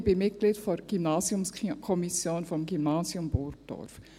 Ich bin Mitglied der Gymnasiumskommission des Gymnasiums Burgdorf.